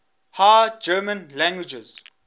high german languages